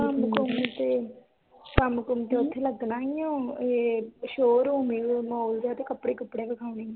ਕੰਮ-ਕੁਮ ਤੇ ਕੰਮ-ਕੁਮ ਤੇ ਉਥੇ ਲੱਗਣਾ ਈ ਓ ਇਹ showroom ਈਓ ਮਾਲ ਜੇਹਾ ਕੱਪੜੇ-ਕੁਪੜੇ ਵਖਾਉਣੇ